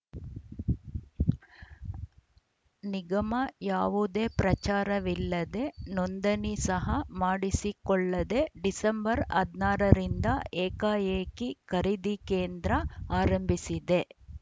ನಿಗಮ ಯಾವುದೇ ಪ್ರಚಾರವಿಲ್ಲದೆ ನೋಂದಣಿ ಸಹ ಮಾಡಿಸಿಕೊಳ್ಳದೆ ಡಿಸೆಂಬರ್ ಹದಿನಾರು ರಿಂದ ಏಕಾಏಕಿ ಖರೀದಿ ಕೇಂದ್ರ ಆರಂಭಿಸಿದೆ